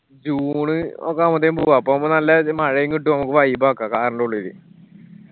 june ഒക്കെ ആവുമ്പത്തേനും പോവാ അപ്പൊ ആവുമ്പൊ നല്ല മഴയും കിട്ടും നമ്മക്ക് vibe ആക്ക. car ന്റെ ഉള്ളില്